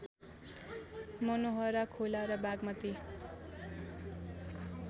मनोहरा खोला र बागमती